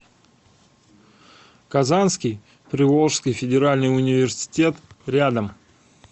казанский приволжский федеральный университет рядом